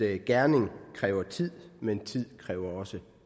at gerning kræver tid men tid kræver også